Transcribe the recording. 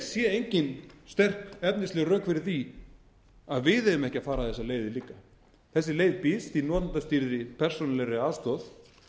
sé engin sterk efnisleg rök fyrir því að við eigum ekki að fara þessar leiðir líka þessi leið býst í notendastýrðri persónulegri aðstoð